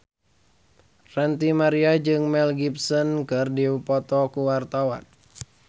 Ranty Maria jeung Mel Gibson keur dipoto ku wartawan